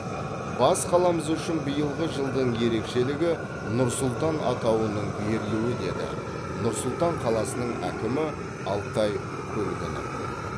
бас қаламыз үшін биылғы жылдың ерекшелігі нұр сұлтан атауының берілуі деді нұр сұлтан қаласының әкімі алтай көлгінов